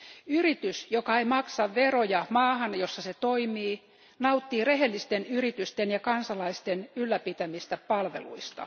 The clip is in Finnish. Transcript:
Yritys, joka ei maksa veroja maahan, jossa se toimii, nauttii rehellisten yritysten ja kansalaisten ylläpitämistä palveluista.